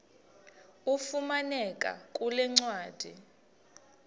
ifumaneka kule ncwadi